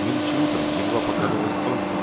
нынче утром едва показалось солнце